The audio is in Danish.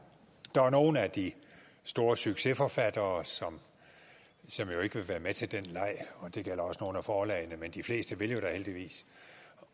der er nogle af de store succesforfattere som ikke vil være med til den leg og det gælder også nogle af forlagene men de fleste vil da heldigvis